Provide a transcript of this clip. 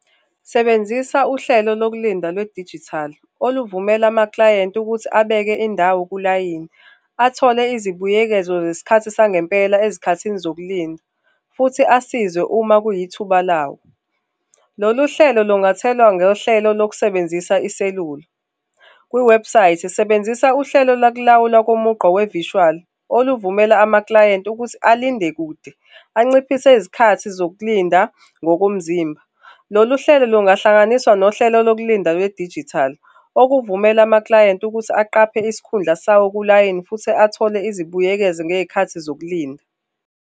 Sebenzisa uhlelo lokulinda lwedijithali oluvumela amaklayenti ukuthi abeke indawo kulayini, athole izibuyekezo zesikhathi sangempela ezikhathini zokulinda, futhi asizwe uma kuyithuba lawo. Lolu hlelo lungathelwa ngohlelo lokusebenzisa iselula kwiwebhusayithi sebenzisa uhlelo lokulawulwa ngomugqa we-virtual oluvumela amaklayenti ukuthi alinde kude, anciphise izikhathi zokulinda ngokomzimba. Lolu hlelo lungahlanganiswa nohlelo lokulindwa lwedijithali okuvumela amaklayenti ukuthi aqaphe isikhundla sawo kulayini futhi athole izibuyekezo ngezikhathi zokulinda.